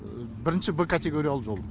бірінші б категориялы жол